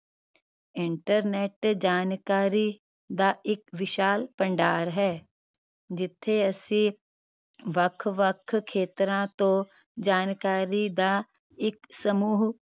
internet ਜਾਣਕਾਰੀ ਦਾ ਇੱਕ ਵਿਸ਼ਾਲ ਭੰਡਾਰ ਹੈ ਜਿਥੇ ਅਸੀਂ ਵੱਖ ਵੱਖ ਖੇਤਰਾਂ ਤੋਂ ਜਾਣਕਾਰੀ ਦਾ ਇੱਕ ਸਮੂਹ